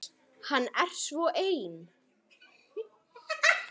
Hann er svo ein